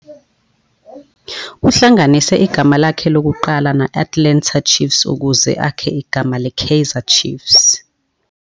Uhlanganise igama lakhe lokuqala ne-Atlanta Chiefs ukuze akhe igama le-Kaizer Chiefs.